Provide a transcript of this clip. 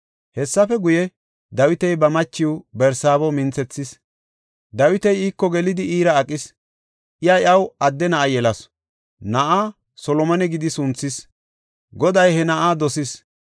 Hessafe guye, Dawiti ba machiw Barsaabo minthethis. Dawiti iiko gelidi iira aqis; iya iyaw adde na7a yelasu. Na7aa Solomone gidi sunthis; Goday he na7aa dosis.